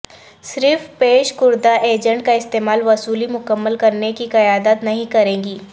صرف پیش کردہ ایجنٹ کا استعمال وصولی مکمل کرنے کی قیادت نہیں کرے گی